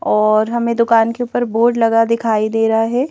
और हमें दुकान के ऊपर बोर्ड लगा दिखाई दे रहा है।